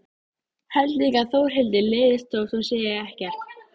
Held líka að Þórhildi leiðist þótt hún segi ekkert.